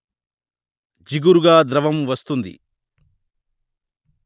జిగురుగా ద్రవం వస్తుంది